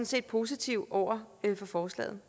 set positiv over for forslaget